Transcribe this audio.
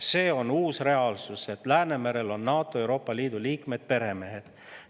See on uus reaalsus, et Läänemerel on NATO ja Euroopa Liidu liikmed peremehed.